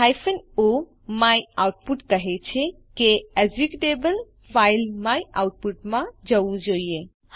o my output કહે છે કે એકઝીકયુટેબલ ફાઈલ માયઆઉટપુટ માં જવું જોઈએ